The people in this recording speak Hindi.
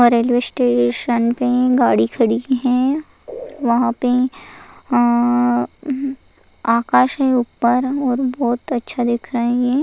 वहा रेल्वे स्टेशन पे गाड़ी खड़ी की है वहाँ पे आ आकाश है ऊपर और बहुत अच्छा दिखा रहे है।